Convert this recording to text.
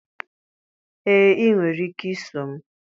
ee, ị nwere ike iso m